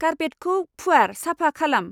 कार्पेटखौ फुवार साफा खालाम।